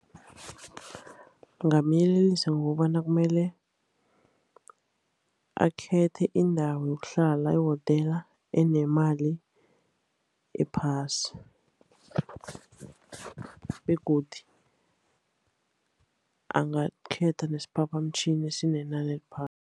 Ngingamyelelisa ngokobana kumele akhethe indawo yokuhlala, ihotela enemali ephasi. Begodu angakhetha nesiphaphamtjhini esinenani eliphasi.